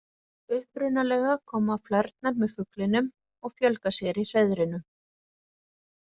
Upprunalega koma flærnar með fuglinum og fjölga sér í hreiðrinu.